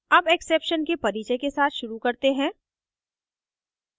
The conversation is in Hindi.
अब exception के परिचय के साथ शुरू करते हैं